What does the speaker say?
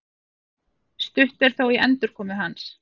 Stutt er þó í endurkomu hans